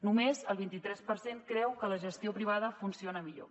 només el vint tres per cent creu que la gestió privada funciona millor